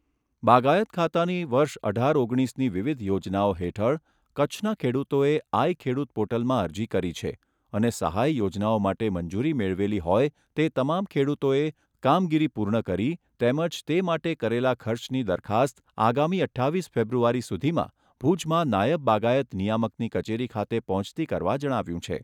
બાગાયત ખાતાની વર્ષ અઢાર ઓગણીસની વિવિધ યોજનાઓ હેઠળ કચ્છના ખેડૂતોએ આઇ ખેડૂત પોર્ટલમાં અરજી કરી છે અને સહાય યોજનાઓ માટે મંજૂરી મેળવેલી હોય તે તમામ ખેડૂતોએ કામગીરી પૂર્ણ કરી તેમજ તે માટે કરેલા ખર્ચની દરખાસ્ત આગામી અઠ્ઠાવીસ ફેબ્રુઆરી સુધીમાં ભુજમાં નાયબ બાગાયત નિયામકની કચેરી ખાતે પહોંચતી કરવા જણાવાયું છે.